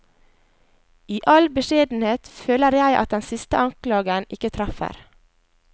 I all beskjedenhet føler jeg at den siste anklagen ikke treffer.